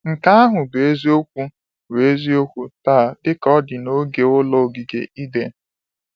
Nke ahụ bụ eziokwu bụ eziokwu taa dịka ọ dị na oge ụlọ ogige Eden.